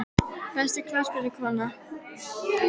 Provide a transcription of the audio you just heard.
Besta knattspyrnukonan?